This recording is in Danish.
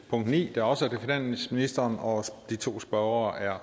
punkt ni der også er til finansministeren og de to spørgere er